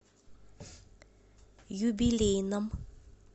юбилейном